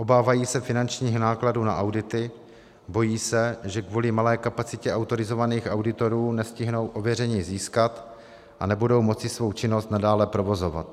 Obávají se finančních nákladů na audity, bojí se, že kvůli malé kapacitě autorizovaných auditorů nestihnou ověření získat a nebudou moci svou činnost nadále provozovat.